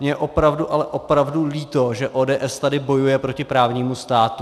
Mně je opravdu, ale opravdu líto, že ODS tady bojuje proti právnímu státu.